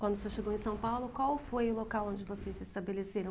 Quando o senhor chegou em São Paulo, qual foi o local onde vocês se estabeleceram?